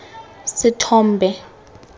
sethombe